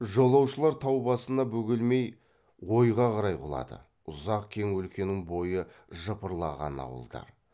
жолаушылар тау басына бөгелмей ойға қарай құлады ұзақ кең өлкенің бойы жыпырлаған ауылдар